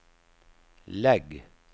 lägg